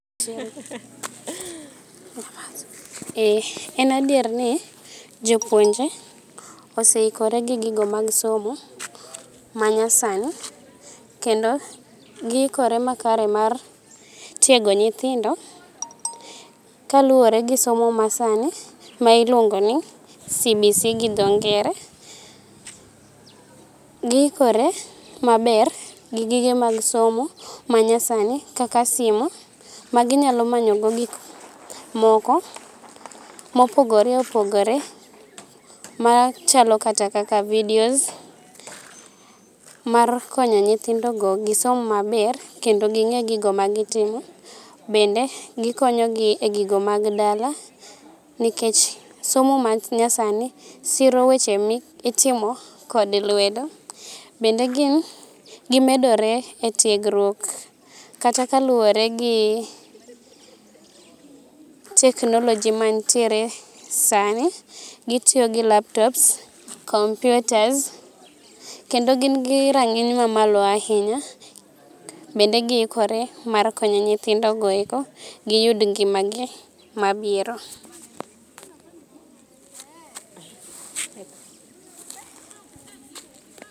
Eh en adieri ni jopuonje oseikore gi gigo mag somo manyasani kendo giikore makare mar tiego nyithindo kaluwore gi somo masani ma iluongo ni CBC gi dho ngere, giikore maber gigige mag somo manyasani kaka simu maginyalo manyogo gik moko ma opogore opogore machalo kata kaka video mar konyo nyithindogo gi somo maber kendo ging'e gigo ma gitimo. Bende gikonyogi e gigo mag dala nikech somo manyasani siro weche mitimo kod lwedo. Bende gimedore e tiegruok kata kaluwore gi teknoloji mantie sani, gitiyo gi laptop, kompiuta kendo gin gi rang'iny mamalo ahinya bende giikore mar konyo nythindogo eko giyud ngima gi mabiro.